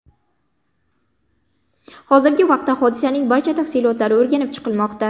Hozirgi vaqtda hodisaning barcha tafsilotlari o‘rganib chiqilmoqda.